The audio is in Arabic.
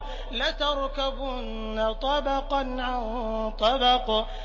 لَتَرْكَبُنَّ طَبَقًا عَن طَبَقٍ